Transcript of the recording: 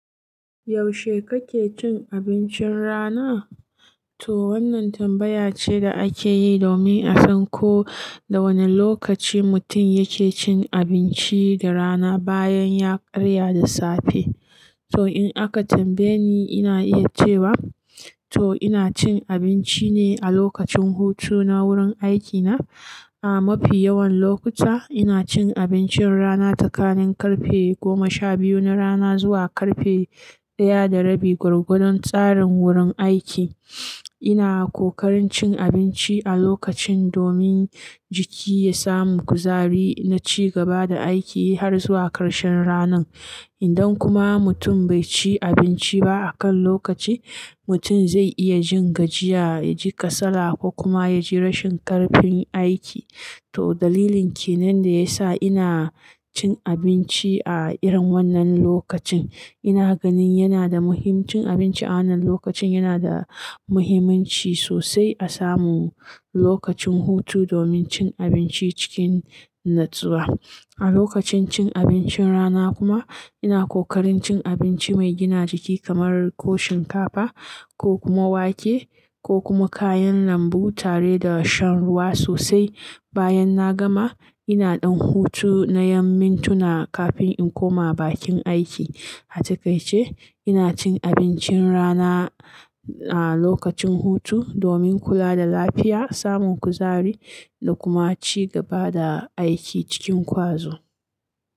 Yaushe kake cin abincin rana? To wannan tambaya ce da ake yi domin a san ko da wane lokaci mutum yake cin abinci da rana bayan ya karya da safe. To in aka tambaye ni, ina iya cewa to ina cin abinci ne a lokacin hutu na wurin aikina. A mafi yawan lokuta ina cin abincin rana tsakanin karfe goma sha biyu na rana zuwa karfe ɗaya da rabi gwargwadon tsarin wurin aiki. Ina ƙoƙarin cin abinci a lokacin domin jiki ya samu kuzari na ci gaba da aiki har zuwa karshen ranan. Idan kuma mutum bai ci abinci ba a kan lokaci, mutum zai iya jin gajiya, ya ji kasala ko kuma ya ji rashin ƙarfin aiki. To dalilin ke nan da ya sa ina cin abinci a irin wannan lokacin. Ina ganin yana da muhim- cin abinci a wannan lokacin yana da muhimmanci sosai a samu lokacin hutu domin cin abinci cikin natsuwa. A lokacin cin abincin rana kuma ina ƙoƙarin cin abinci mai gina jiki kamar ko shinkafa ko kuma wake ko kuma kayan lambu tare da shan ruwa sosai. Bayan na gama ina ɗan hutu na yamin tuna kafin in koma bakin aiki. A cikakke ina cin abincin rana a lokacin hutu domin kula da lafiya, samun kuzari da kuma ci gaba da aiki cikin ƙwazo.